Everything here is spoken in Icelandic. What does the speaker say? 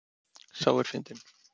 Sá er fyndinn!